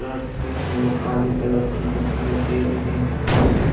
और काले कलर की दिखाई दे रही है जिसके --